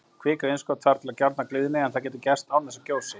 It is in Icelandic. Kvikuinnskot þarf til að gjárnar gliðni, en það getur gerst án þess að gjósi.